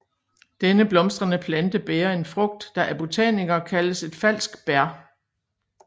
Denne blomstrende plante bærer en frugt der af botanikere kaldes et falsk bær